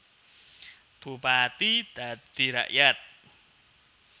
Bupati dadi rakyat